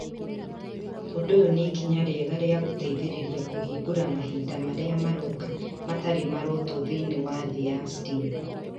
Ũndũ ũyũ nĩ ikinya rĩega rĩa gũteithĩrĩria kũhingũra mahinda marĩa maroka matarĩ marotwo thĩinĩ wa thĩ ya STEAM.